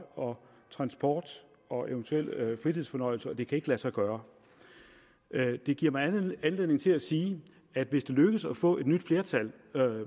transport og eventuelle fritidsfornøjelser og det kan ikke lade sig gøre det giver mig anledning til at sige at hvis det lykkes at få et nyt flertal